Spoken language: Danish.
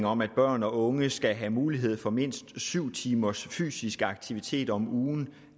om at børn og unge skal have mulighed for mindst syv timers fysisk aktivitet om ugen